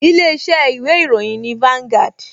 Ilé-iṣẹ́ ìwé ìròyìn ni Vanguard